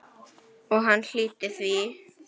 Og hann hlýddi því.